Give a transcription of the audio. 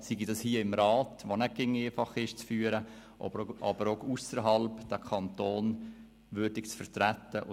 Sei es hier im Rat, der auch nicht immer einfach zu führen ist, sei es auch ausserhalb, wo es den Kanton würdig zu vertreten gilt.